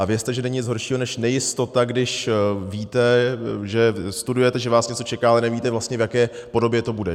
A vězte, že není nic horšího než nejistota, když víte, že studujete, že vás něco čeká, ale nevíte vlastně, v jaké podobě to bude.